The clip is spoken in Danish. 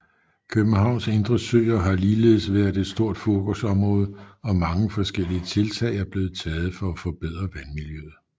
Københavns indre søer har ligeledes været et stort fokusområde og mange forskellige tiltag er blevet taget for at forbedre vandmiljøet